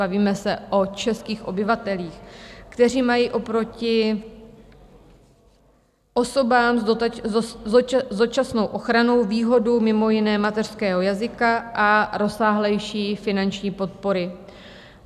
Bavíme se o českých obyvatelích, kteří mají oproti osobám s dočasnou ochranou výhodu mimo jiné mateřského jazyka a rozsáhlejší finanční podpory.